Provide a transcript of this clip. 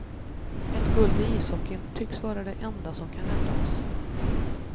Ett guld i ishockeyn tycks vara det enda som kan rädda oss.